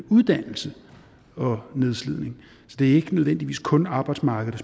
uddannelse og nedslidning det er ikke nødvendigvis kun arbejdsmarkedet